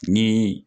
Ni